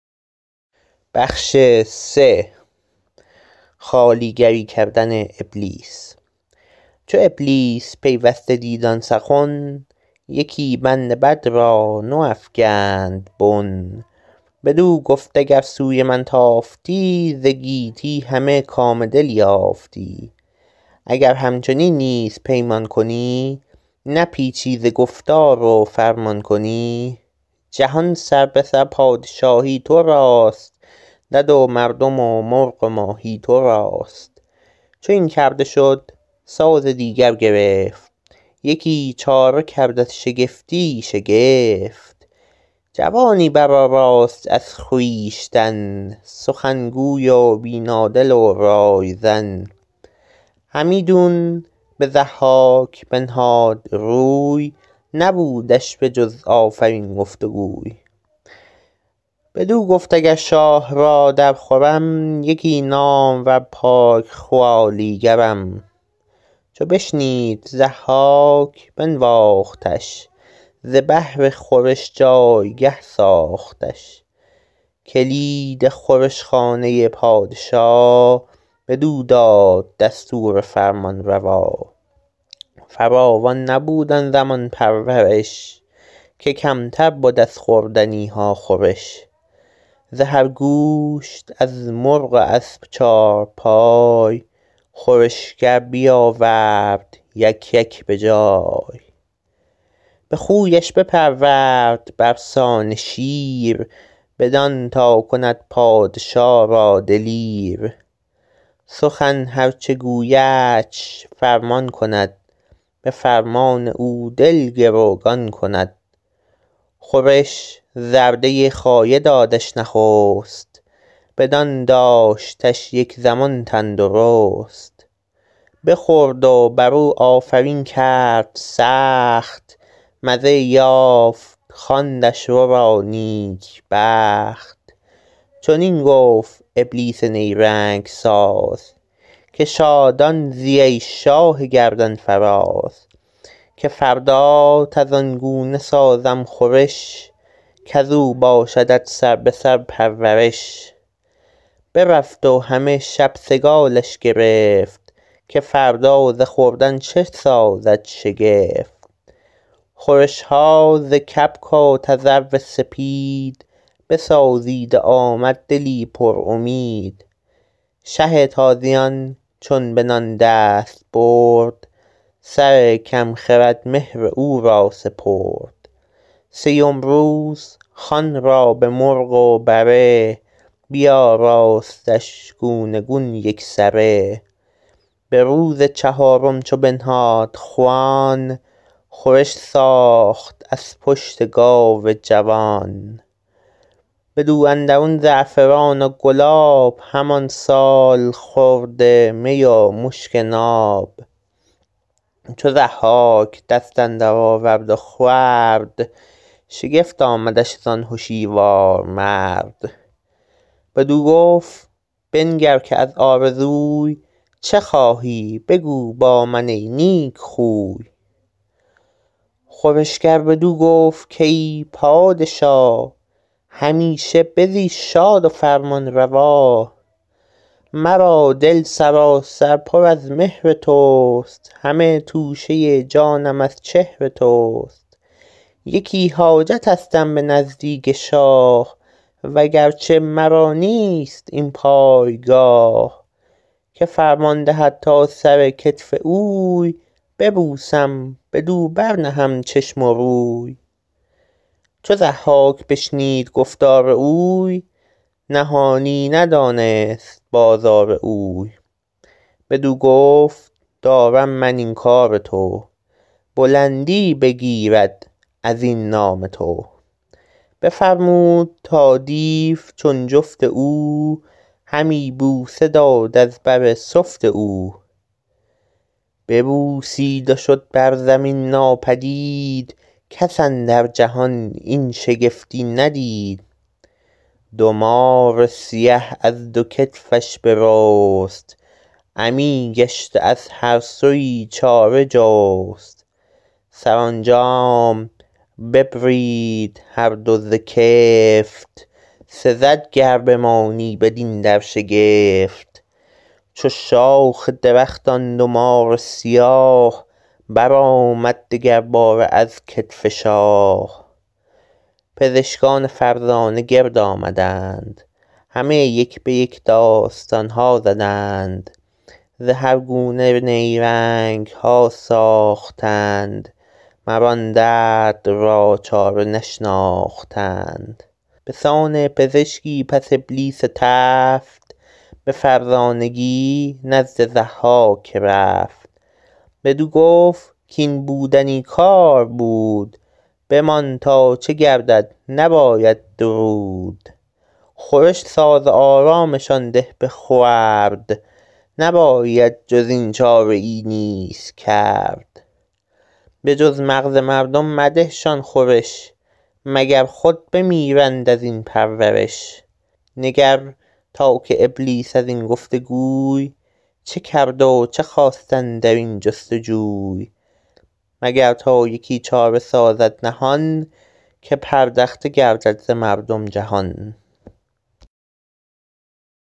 چو ابلیس پیوسته دید آن سخن یکی بند بد را نو افگند بن بدو گفت گر سوی من تافتی ز گیتی همه کام دل یافتی اگر همچنین نیز پیمان کنی نپیچی ز گفتار و فرمان کنی جهان سربه سر پادشاهی تو راست دد و مردم و مرغ و ماهی تو راست چو این کرده شد ساز دیگر گرفت یکی چاره کرد از شگفتی شگفت جوانی برآراست از خویشتن سخنگوی و بینا دل و رایزن همیدون به ضحاک بنهاد روی نبودش به جز آفرین گفت و گوی بدو گفت اگر شاه را در خورم یکی نامور پاک خوالیگرم چو بشنید ضحاک بنواختش ز بهر خورش جایگه ساختش کلید خورش خانه پادشا بدو داد دستور فرمانروا فراوان نبود آن زمان پرورش که کمتر بد از خوردنی ها خورش ز هر گوشت از مرغ و از چارپای خورشگر بیاورد یک یک به جای به خونش بپرورد بر سان شیر بدان تا کند پادشا را دلیر سخن هر چه گویدش فرمان کند به فرمان او دل گروگان کند خورش زرده خایه دادش نخست بدان داشتش یک زمان تندرست بخورد و بر او آفرین کرد سخت مزه یافت خواندش ورا نیک بخت چنین گفت ابلیس نیرنگ ساز که شادان زی ای شاه گردنفراز که فردات از آن گونه سازم خورش کز او باشدت سربه سر پرورش برفت و همه شب سگالش گرفت که فردا ز خوردن چه سازد شگفت خورش ها ز کبک و تذرو سپید بسازید و آمد دلی پر امید شه تازیان چون به نان دست برد سر کم خرد مهر او را سپرد سیم روز خوان را به مرغ و بره بیاراستش گونه گون یک سره به روز چهارم چو بنهاد خوان خورش ساخت از پشت گاو جوان بدو اندرون زعفران و گلاب همان سالخورده می و مشک ناب چو ضحاک دست اندر آورد و خورد شگفت آمدش زان هشیوار مرد بدو گفت بنگر که از آرزوی چه خواهی بگو با من ای نیک خوی خورشگر بدو گفت کای پادشا همیشه بزی شاد و فرمانروا مرا دل سراسر پر از مهر تو است همه توشه جانم از چهر تو است یکی حاجتستم به نزدیک شاه و گرچه مرا نیست این پایگاه که فرمان دهد تا سر کتف اوی ببوسم بدو بر نهم چشم و روی چو ضحاک بشنید گفتار اوی نهانی ندانست بازار اوی بدو گفت دارم من این کام تو بلندی بگیرد از این نام تو بفرمود تا دیو چون جفت او همی بوسه داد از بر سفت او ببوسید و شد بر زمین ناپدید کس اندر جهان این شگفتی ندید دو مار سیه از دو کتفش برست غمی گشت و از هر سویی چاره جست سرانجام ببرید هر دو ز کفت سزد گر بمانی بدین در شگفت چو شاخ درخت آن دو مار سیاه برآمد دگر باره از کتف شاه پزشکان فرزانه گرد آمدند همه یک به یک داستان ها زدند ز هر گونه نیرنگ ها ساختند مر آن درد را چاره نشناختند به سان پزشکی پس ابلیس تفت به فرزانگی نزد ضحاک رفت بدو گفت کاین بودنی کار بود بمان تا چه گردد نباید درود خورش ساز و آرامشان ده به خورد نباید جز این چاره ای نیز کرد به جز مغز مردم مده شان خورش مگر خود بمیرند از این پرورش نگر تا که ابلیس از این گفت وگوی چه کرد و چه خواست اندر این جستجوی مگر تا یکی چاره سازد نهان که پردخته گردد ز مردم جهان